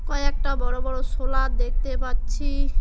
কয়েকটা বড় বড় শোলার দেখতে পারছি।